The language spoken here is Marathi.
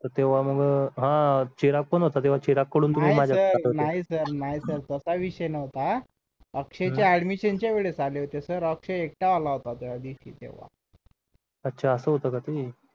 तेव्हा मी मग हा चिराग पण होता चिराग कडून तुम्ही नाही sir नाही sir नाही sir तसा विषय नव्हता अक्षयच्या admision च्या वेळेस आले होते सर अक्षय एकता आला होता तेव्हा त्या दिवशी तेव्हा अच्छा असं होतं का ते